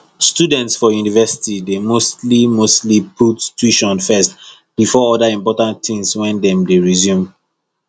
students for university dey mostly mostly put tuition first before other important things when dem dey resume